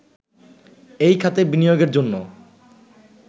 এই খাতে বিনিয়োগের জন্য